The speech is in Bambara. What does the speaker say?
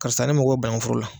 Karisa ne mɔgɔ banankun foro la.